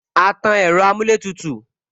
A tan ẹ̀rọ amuletutu